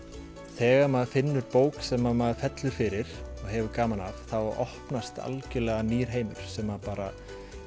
þegar maður finnur bók sem maður fellur fyrir og hefur gaman af þá opnast algjörlega nýr heimur sem að bara